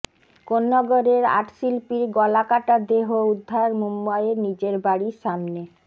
কোন্নগরের art শিল্পীর গলা কাটা দেহ উদ্ধার মুম্বাইয়ের নিজের বাড়ির সামনে